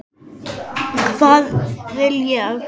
Hvað vil ég?